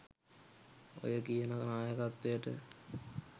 ඔය කියන නායකත්වයට